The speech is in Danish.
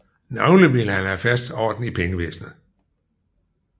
Navnlig ville han have fast orden i pengevæsenet